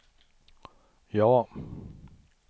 ja